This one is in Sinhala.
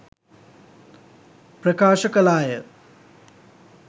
ප්‍රකාශ කළාය.